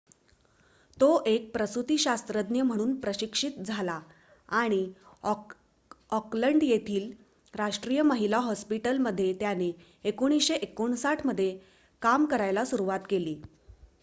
तो एक प्रसुतीशास्त्रज्ञ म्हणून प्रशिक्षित झाला आणि ऑकलंड येथील राष्ट्रीय महिला हॉस्पिटल मध्ये त्याने 1959 मध्ये काम करायला सुरुवात केली